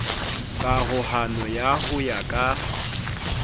karohano ya ho ya ka